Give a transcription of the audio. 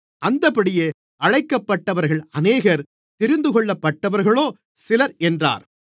அந்தப்படியே அழைக்கப்பட்டவர்கள் அநேகர் தெரிந்துகொள்ளப்பட்டவர்களோ சிலர் என்றார்